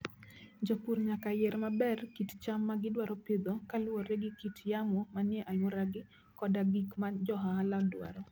Jopur nyaka yier maber kit cham ma gidwaro pidho kaluwore gi kit yamo manie alworagi koda gik ma jo ohala dwaro.